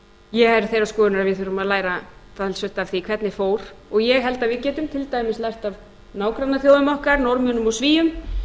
ég er þeirrar skoðunar að við þurfum að læra talsvert af því hvernig fór og ég held að við getum til dæmis lært af nágrannaþjóðum okkar norðmönnum og svíum